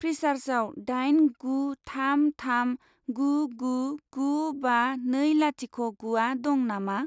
फ्रिसार्जआव दाइन गु थाम थाम गु गु गु बा नै लाथिख' गुआ दं नामा?